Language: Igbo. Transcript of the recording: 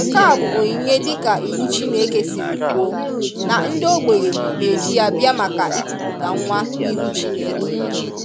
Nke a bụ onyinye dịka iwu Chineke siri kwuo, na ndị ogbenye na-eji ya bịa maka ikuputa nwa n'ihu Chineke